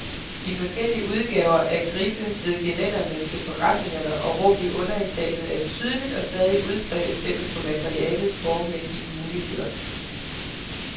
De forskellige udgaver af griffe ved gelænderne til forretninger og rum i underetagerne er et tydeligt og stadig udbredt eksempel på materialets formmæssige muligheder.